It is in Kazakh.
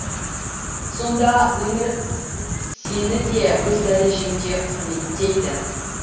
сонда өмір сеніде өз дәрежеңде құрметейді